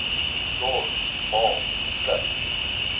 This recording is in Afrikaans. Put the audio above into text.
dors baal pluk